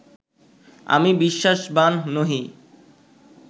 আমি বিশ্বাসবান্ নহি